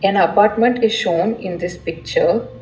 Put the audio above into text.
An apartment shown in this picture.